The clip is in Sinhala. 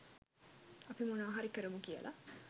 අපි මොනවා හරි කරමු කියලා.